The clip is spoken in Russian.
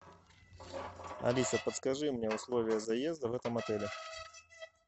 алиса подскажи мне условия заезда в этом отеле